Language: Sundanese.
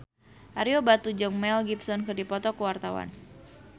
Ario Batu jeung Mel Gibson keur dipoto ku wartawan